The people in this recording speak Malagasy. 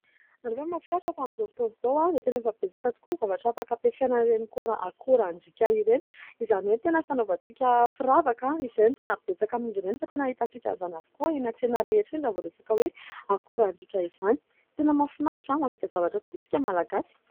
Ianareo ve mahatsikaritra fa amin'izao fotoan'izao dia tena efa betsaka tokoa ny zavatra afaka ampiasana ireny akora akorandrika ireny, izany hoe tena fanaovantsika firavaka izay ny tena betsaka amin'izy ireny fa tena hitantsika an'izany avokoa eny an-tsena rehetra eny rehefa resaka hoe akorandriaka izany ; tena mahafinaritra mahavita zavatra tokoa isika malagasy.